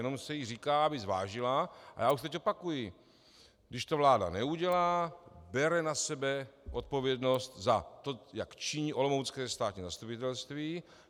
Jenom se jí říká, aby zvážila - a já už teď opakuji, když to vláda neudělá, bere na sebe odpovědnost za to, jak činí olomoucké státní zastupitelství.